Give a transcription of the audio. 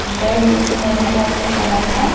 red maroon type के colour का--